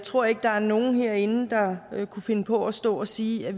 tror ikke der er nogen herinde der kunne finde på at stå og sige at